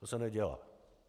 To se nedělá.